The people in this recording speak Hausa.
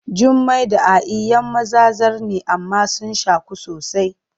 Jummai da A’i ‘yan maza zar ne amma sun shaku sosai.